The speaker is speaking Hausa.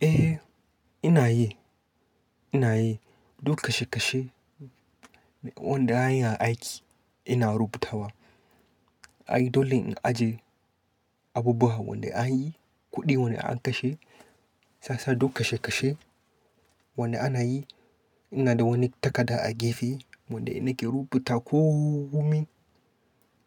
Eh, ina yi. Ina yi duk kashe-kashe wanda an yi a aiki ina rubutawa. Ai dole in ajiye abubuwan wanda an yi, kuɗin wanda an kashe. Shiyasa duk kashe-kashe wanda ana yi, ina da wani takarda a gefe wanda ina ke rubuta komi